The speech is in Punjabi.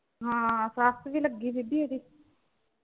ਹਾਂ ਸੱਸ ਵੀ ਲੱਗੀ ਸੀ ਗੀ ਇਹਦੀ।